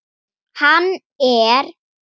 Hann er